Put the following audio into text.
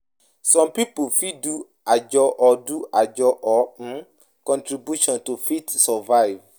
Some pipo fit do ajo or do ajo or um contribution to fit survive